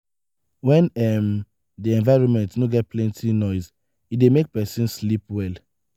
when um di environment no get plenty nose e dey make person sleep well